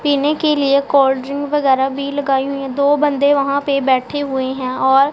पीने के लिए कोल्ड ड्रिंक वेगैरे भी लगाई हुई हैं दो बंदे वहां पे बैठे हुए हैं और--